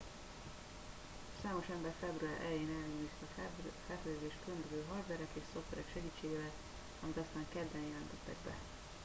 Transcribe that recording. számos ember február elején ellenőrizte a felfedezést különböző hardverek és szoftverek segítségével amit aztán kedden jelentettek be